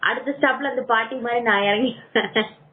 அடுத்த ஸ்டாப்ல அந்த பாட்டி மாதிரி நான் இறங்கிவ